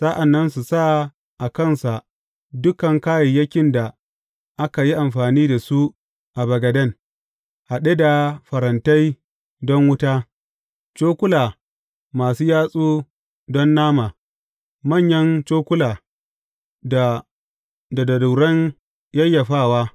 Sa’an nan su sa a kansa dukan kayayyakin da aka yi amfani da su a bagaden, haɗe da farantai don wuta, cokula masu yatsu don nama, manyan cokula, da darunan yayyafawa.